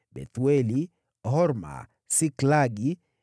Bethueli, Horma, Siklagi,